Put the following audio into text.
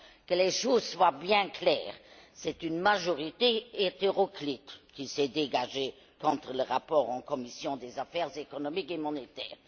Que les choses soient claires c'est une majorité hétéroclite qui s'est dégagée contre le rapport en commission des affaires économiques et monétaires.